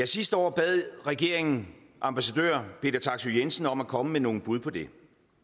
sidste år bad regeringen ambassadør peter taksøe jensen om at komme med nogle bud på det